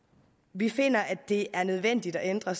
vi finder at det er nødvendigt at ændre